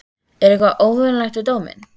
Er eitthvað óvenjulegt við dóminn?